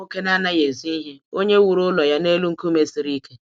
Ọ bụ nwoke na anaghị ezo ihe, onye wụrụ ụlọ ya n’elu nkume siri ike.